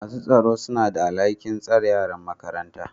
masu tsaro suna da alhakin tsare yaran makaranta